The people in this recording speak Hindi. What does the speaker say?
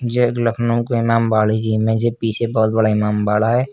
यह एक लखनऊ का इमामबाड़ी की इमेज है पीछे बहुत बड़ा इमामबाड़ा है।